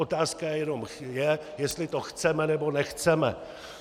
Otázka jenom je, jestli to chceme, nebo nechceme.